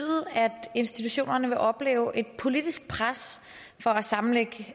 at institutionerne vil opleve et politisk pres for at sammenlægge